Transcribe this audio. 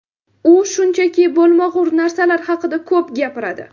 U shunchaki bo‘lmag‘ur narsalar haqida ko‘p gapiradi.